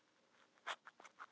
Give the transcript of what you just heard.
Víóla, hvaða vikudagur er í dag?